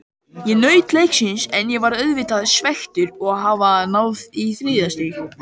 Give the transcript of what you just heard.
Ég naut leiksins en ég er auðvitað svekktur að hafa ekki náð í þrjú stig.